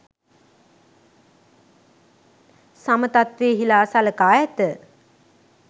සම තත්වයෙහි ලා සලකා ඇත